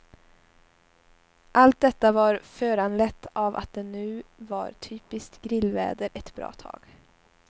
Allt detta var föranlett av att det nu varit typiskt grillväder ett bra tag.